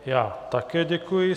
Já také děkuji.